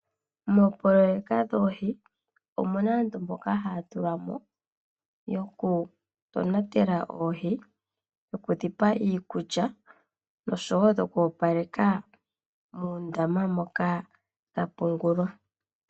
Moopoloyeka dhoohi omuna aantu mboka haya tulwa mo yokutonatela oohi. Okudhipa iikulya noshowo okwoopaleka muundama moka dhapungulwa.